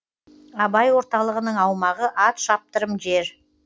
абай орталығының аумағы ат шаптырым жер